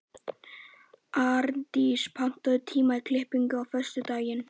Árndís, pantaðu tíma í klippingu á föstudaginn.